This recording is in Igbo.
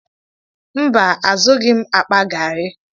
Mba, azụghi m akpa garri.